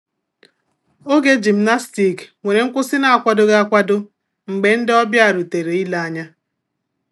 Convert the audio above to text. Oge gymnastic nwere nkwụsị na akwadoghi akwado mgbe ndi ọbịa rutere ile anya